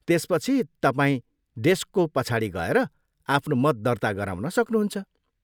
त्यसपछि, तपाईँ डेस्कको पछाडि गएर आफ्नो मत दर्ता गराउन सक्नुहुन्छ।